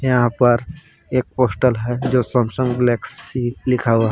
यहां पर एक पोस्टर है जो सैमसंग गैलेक्सी लिखा हुआ--